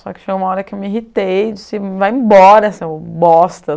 Só que chegou uma hora que eu me irritei e disse, vai embora, seu bosta!